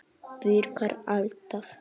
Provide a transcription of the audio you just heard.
Virkar alltaf!